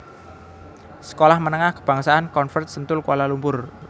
Sekolah Menengah Kebangsaan Convent Sentul Kuala Lumpur